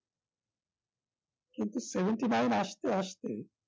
কিন্তু seventy-nine আসতে আসতে